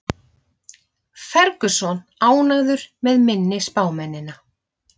Ferguson ánægður með minni spámennina